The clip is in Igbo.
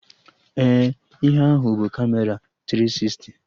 Ee, ihe ahụ bụ Kamera tiri sisti